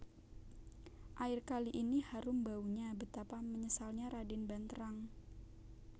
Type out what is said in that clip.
Air kali ini harum baunya Betapa menyesalnya Raden Banterang